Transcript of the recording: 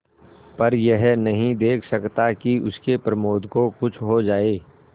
पर यह नहीं देख सकता कि उसके प्रमोद को कुछ हो जाए